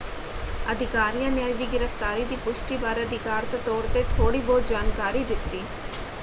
ਅਧਿਕਾਰੀਆਂ ਨੇ ਅੱਜ ਦੀ ਗ੍ਰਿਫਤਾਰੀ ਦੀ ਪੁਸ਼ਟੀ ਬਾਰੇ ਅਧਿਕਾਰਤ ਤੌਰ 'ਤੇ ਥੋੜ੍ਹੀ ਬਹੁਤ ਜਾਣਕਾਰੀ ਦਿੱਤੀ।